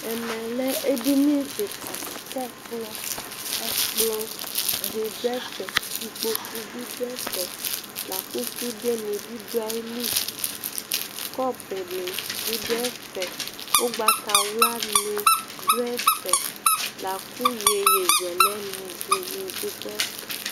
ɛmɛ lɛ edini keka di k'ɛkplɔ ɛkplɔ di do ɛfɛ ikpoku bi do ɛfɛ la kò sude ni bi do ayili kɔpu ni bi do ɛfɛ ugbata wla ni do ɛfɛ la kò yeye zɛlɛ ni ɛdini bi do ɛfɛ